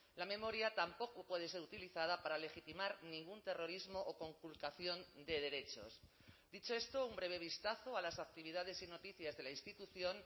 la memoria tampoco puede ser utilizada para legitimar ningún terrorismo o conculcación de derechos dicho esto un breve vistazo a las actividades y noticias de la institución